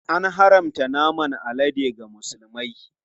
An haramta naman alade ga Musulmai.